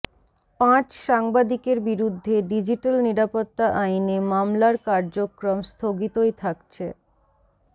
পাঁচ সাংবাদিকের বিরুদ্ধে ডিজিটাল নিরাপত্তা আইনে মামলার কার্যক্রম স্থগিতই থাকছে